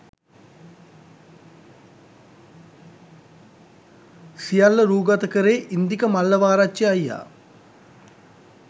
සියල්ල රූගත කළේ ඉන්දික මල්ලවාරච්චි අයියා.